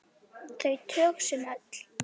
Þau tög sem öll.